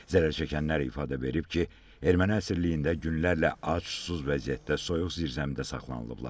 Zərərçəkənlər ifadə verib ki, erməni əsriyliyində günlərlə ac, susuz vəziyyətdə soyuq zirzəmidə saxlanılıblar.